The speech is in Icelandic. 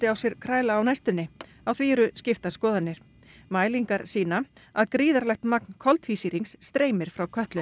á sér kræla á næstunni á því eru skiptar skoðanir mælingar sýna að gríðarlegt magn koltvísýrings streymir frá Kötlu